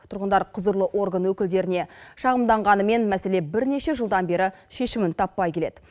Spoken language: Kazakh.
тұрғындар құзырлы орган өкілдеріне шағымданғанымен мәселе бірнеше жылдан бері шешімін таппай келеді